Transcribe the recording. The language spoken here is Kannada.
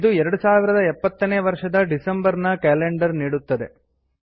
ಇದು 2070 ನೇ ವರ್ಷದ ಡಿಸಂಬರ್ ನ ಕ್ಯಾಲೆಂಡರ್ ನೀಡುತ್ತದೆ